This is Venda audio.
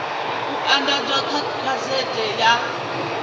u andadzwa kha gazethe ya